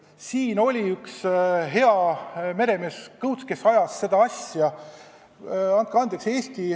Meil oli üks hea meremees Kõuts, kes ajas seda asja.